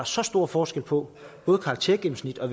så stor forskel på både karaktergennemsnit og